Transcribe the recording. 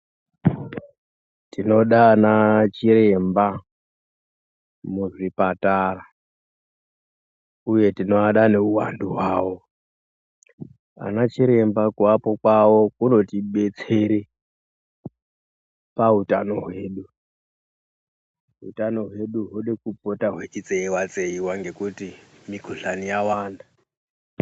Toda anachiremba muzvipatara uye tinovada ngeuwandu hwawo. Anachiremba kuvapo kwavo kunotibetsere pautano hwedu. Utano hwedu huri kupota hweitseiwa tseiwa ngekuti mikhuhlani yawanda.